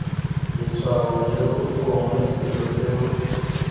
letshwao leo gongwe selo seo